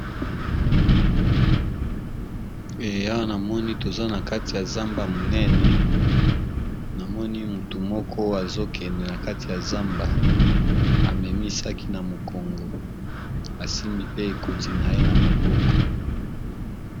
Eya namoni toza na kati ya zamba monene namoni mutu moko azokende na kati ya zamba amemisaki na mokongo asimbi pe ekoti na ye na maboko.